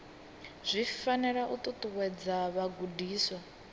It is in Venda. zwi fanela u ṱuṱuwedza vhagudiswa